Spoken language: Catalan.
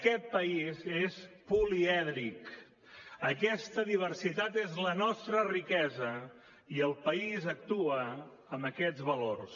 aquest país és polièdric aquesta diversitat és la nostra riquesa i el país actua amb aquests valors